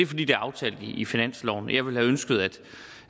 fordi det er aftalt i finansloven jeg ville ønske